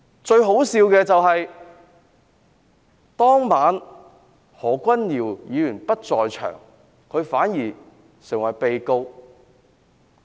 最可笑的是何君堯議員當晚不在場，但反而成為被告。